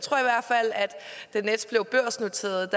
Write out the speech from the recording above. der da nets blev børsnoteret